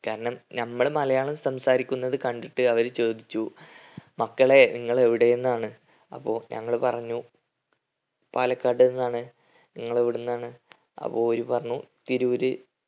കാരണം നമ്മൾ മലയാളം സംസാരിക്കുന്നത് കണ്ടിട്ട് അവർ ചോദിച്ചു മക്കളെ നിങ്ങൾ എവിടെ നിന്നാണ് അപ്പൊ ഞങ്ങൾ പറഞ്ഞു പാലക്കാട് നിന്നാണ് നിങ്ങളെവിടെന്നാണ് അപ്പൊ ഓര് പറഞ്ഞു തിരൂർ